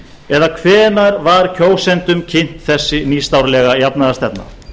eða hvenær var kjósendum kynnt þessi nýstárlega jafnaðarstefna